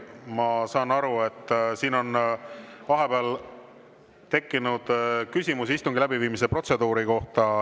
Ma saan aru, et siin on vahepeal tekkinud küsimus istungi läbiviimise protseduuri kohta.